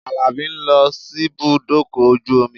Àlàbí ń lọ síbùdókọ̀ ojú omi